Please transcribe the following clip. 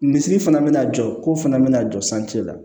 Misiri fana bɛna jɔ ko fana bɛna jɔ la